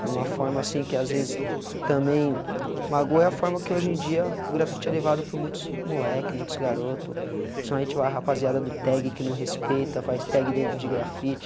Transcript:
E uma forma assim, que às vezes também... Magoa é a forma que hoje em dia o grafite é levado por muitos moleques, muitos garotos, principalmente a rapaziada do tag que não respeita, faz tag dentro de grafite.